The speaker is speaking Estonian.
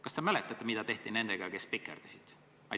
Kas te mäletate, mida tehti nendega, kes spikerdasid?